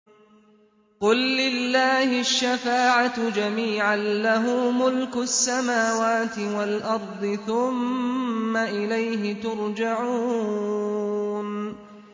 قُل لِّلَّهِ الشَّفَاعَةُ جَمِيعًا ۖ لَّهُ مُلْكُ السَّمَاوَاتِ وَالْأَرْضِ ۖ ثُمَّ إِلَيْهِ تُرْجَعُونَ